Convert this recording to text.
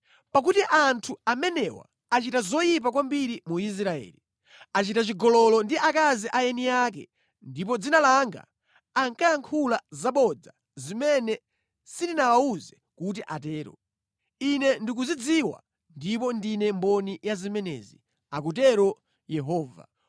Pakuti anthu amenewa achita zoyipa kwambiri mu Israeli; achita chigololo ndi akazi a eni ake ndipo mʼdzina langa ankayankhula zabodza zimene sindinawawuze kuti atero. Ine ndikuzidziwa ndipo ndine mboni ya zimenezi,” akutero Yehova.